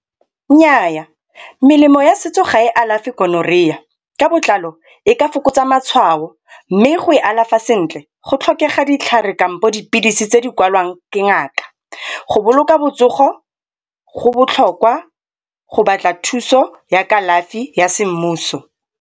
Nnyaa, melemo ya setso ga e alafe Gonorrhea ka botlalo e ka fokotsa matshwao mme go e alafa sentle go tlhokega ditlhare kampo dipilisi tse di kwalwang ke ngaka. Go boloka botsogo go botlhokwa go batla thuso ya kalafi ya semmuso.